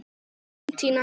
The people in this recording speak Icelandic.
Þín, Tinna.